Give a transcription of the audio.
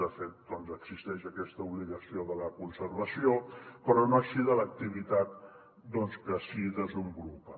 de fet existeix aquesta obligació de la conservació però no així de l’activitat que s’hi desenvolupa